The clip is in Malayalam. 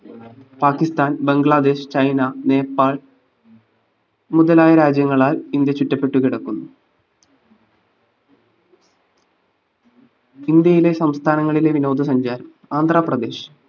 പാകിസ്ഥാൻ ബംഗ്ലാദേശ് ചൈന നേപ്പാൾ മുതലായ രാജ്യങ്ങളാൽ ഇന്ത്യ ചുറ്റപെട്ട്കിടക്കുന്നു ഇന്ത്യയിലെ സംസ്ഥാനങ്ങളിലെ വിനോദ സഞ്ചാരം. ആന്ധ്രാപ്രദേശ്‌